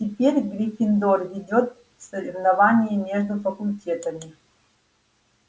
теперь гриффиндор ведёт в соревновании между факультетами